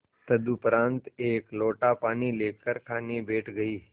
तदुपरांत एक लोटा पानी लेकर खाने बैठ गई